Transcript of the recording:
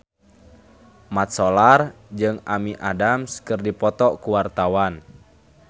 Mat Solar jeung Amy Adams keur dipoto ku wartawan